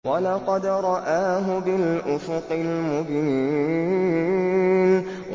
وَلَقَدْ رَآهُ بِالْأُفُقِ الْمُبِينِ